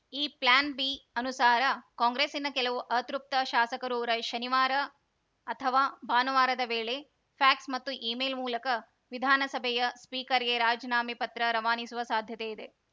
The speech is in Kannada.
ಈ ಪ್ಲ್ಯಾನ್‌ ಬಿ ಅನುಸಾರ ಕಾಂಗ್ರೆಸ್ಸಿನ ಕೆಲವು ಅತೃಪ್ತ ಶಾಸಕರು ರೈ ಶನಿವಾರ ಅಥವಾ ಭಾನುವಾರದ ವೇಳೆ ಫ್ಯಾಕ್ಸ್‌ ಮತ್ತು ಇಮೇಲ್‌ ಮೂಲಕ ವಿಧಾನಸಭೆಯ ಸ್ಪೀಕರ್‌ಗೆ ರಾಜೀನಾಮೆ ಪತ್ರ ರವಾನಿಸುವ ಸಾಧ್ಯತೆಯಿದೆ